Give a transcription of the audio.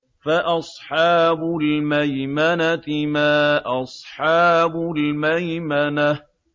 فَأَصْحَابُ الْمَيْمَنَةِ مَا أَصْحَابُ الْمَيْمَنَةِ